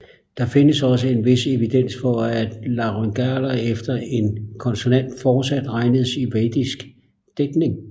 Der findes også en vis evidens for at laryngaler efter en konsonant fortsat regnedes i vedisk digtning